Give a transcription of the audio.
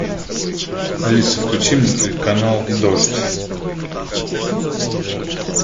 алиса включи мне телеканал дождь